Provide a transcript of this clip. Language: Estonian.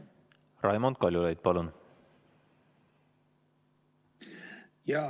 Raimond Kaljulaid, palun!